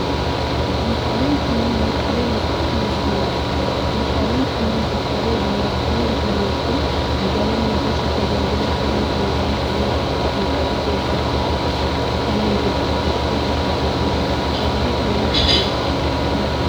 Meeshaaleen kunneen meeshaalee biiroo fi manaati. Meeshaaleen kunneen meeshaalee biiroo fi manaa jechuun meeshaalee mana keessatti tajaajila kennuu danada'an kan akka :minjaala, teessoo mukaa fi kanneen biroo, saanduqa meeshaalee keessa kaawwatanii fi kanneen biroo dha.